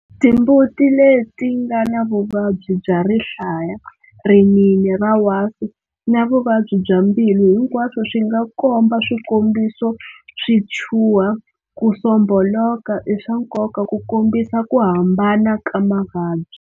Timbuti leti nga na vuvabyi bya rihlaya, rinini ra wasi na Vuvabyi bya mbilu hinkwaswo swi nga komba swikombiso swi chuha, ku sombholoka i swa nkoka ku kombisa ku hambana ka mavabyi.